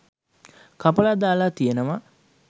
කපලා දාලා තියෙනවා.